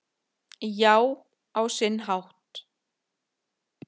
Já, á sinn hátt